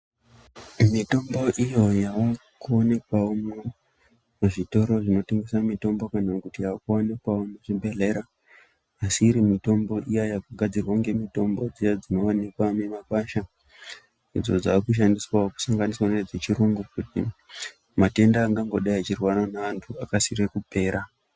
Mitombo iyo yava kuonekwawo muzvitoro zvinotengesa mitombo kana kuti yakuwanikwawo muzvibhedhlera asi iri mitombo iya yakugadzirwa ngemitombo dziya dzinowanikwa mimakwasha idzo dzakushandiswawo kusanganisa nedzechirungu, matenda angandodai achirwara naantu akasire kupera.